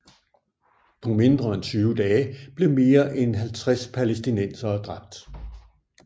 På mindre end tyve dage blev mere end 50 palæstinensere dræbt